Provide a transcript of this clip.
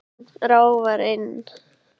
Ráfar inn.